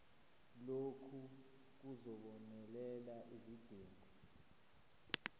lokhu kuzobonelela izidingo